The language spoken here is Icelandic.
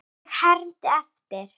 Og ég hermdi eftir.